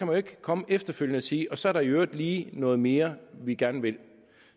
jo ikke komme efterfølgende og sige at så er der i øvrigt lige noget mere vi gerne vil